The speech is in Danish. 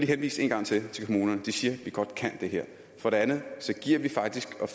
henvise en gang til til kommunerne de siger at de godt kan det her for det andet